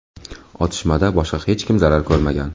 Otishmada boshqa hech kim zarar ko‘rmagan.